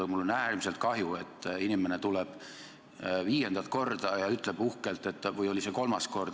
Aga mul on äärmiselt kahju, et inimene tuleb viiendat korda – või oli see kolmas kord?